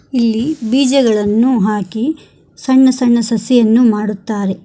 ಇಲ್ಲಿ ಬೀಜಗಳನ್ನು ಹಾಕಿ ಸಣ್ಣ ಸಣ್ಣ ಸಸಿಗಳನ್ನು ಮಾಡುತ್ತಾರೆ.